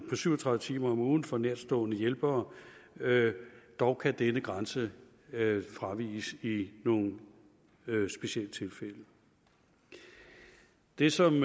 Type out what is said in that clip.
syv og tredive timer om ugen for nærtstående hjælpere dog kan denne grænse fraviges i nogle specielle tilfælde det som